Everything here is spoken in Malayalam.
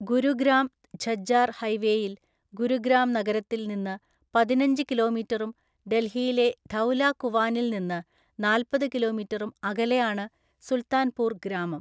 ഗുരുഗ്രാം ഝജ്ജാർ ഹൈവേയിൽ ഗുരുഗ്രാം നഗരത്തിൽ നിന്ന് പതിനഞ്ച് കിലോമീറ്ററും ഡൽഹിയിലെ ധൌലാ കുവാനിൽ നിന്ന് നാല്‍പ്പത് കിലോമീറ്ററും അകലെയാണ് സുൽത്താൻപൂർ ഗ്രാമം.